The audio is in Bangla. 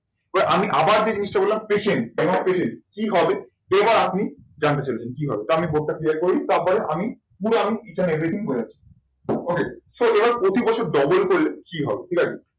আমি আবার যে জিনিসটা বললাম, patience patience কি হবে? এবার আপনি জানতে চাইবেন কি হবে? তো আমি board টা clear করি তারপরে আমি পুরো আমি ই each and everything বোঝাচ্ছি। OK so যারা প্রতি বছর double করে কি হবে? ঠিক আছে?